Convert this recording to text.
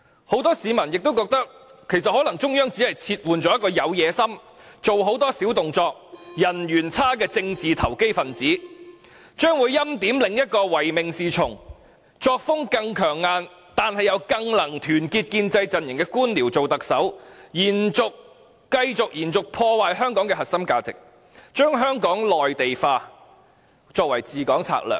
很多市民亦覺得，其實中央可能只是撤換了一個有野心、做很多小動作、人緣又差的政治投機分子，而將會欽點另一個唯命是從，作風更強硬，但又更能團結建制陣營的官僚做特首，繼續破壞香港的核心價值，把內地化作為治港策略。